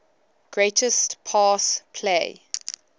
greatest pass play